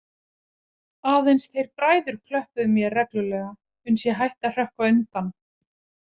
Aðeins þeir bræður klöppuðu mér reglulega uns ég hætti að hrökkva undan.